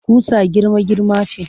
Ƙusa girma-girma ce